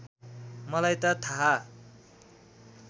मलाई त थाहा